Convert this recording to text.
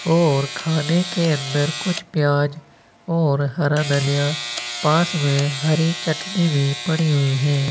और खाने के अंदर कुछ प्याज और हरा धनिया पास में हरी चटनी भी पड़ी हुई है।